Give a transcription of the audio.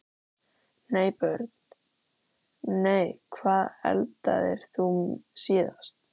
Nei Börn: Nei Hvað eldaðir þú síðast?